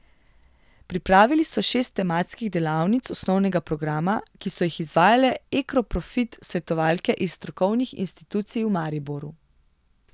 Pripravili so šest tematskih delavnic osnovnega programa, ki so jih izvajale Ekoprofit svetovalke iz strokovnih institucij v Mariboru.